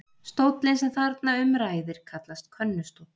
Stóllinn sem þarna um ræðir kallast könnustóll.